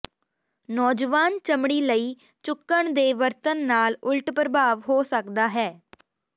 ਨੌਜਵਾਨ ਚਮੜੀ ਲਈ ਚੁੱਕਣ ਦੇ ਵਰਤਣ ਨਾਲ ਉਲਟ ਪ੍ਰਭਾਵ ਹੋ ਸਕਦਾ ਹੈ